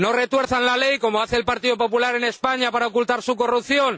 No retuerzan la ley, como hace el Partido Popular en España para ocultar su corrupción.